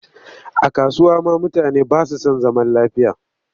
A kasuwa ma mutane ba su san zaman lafiya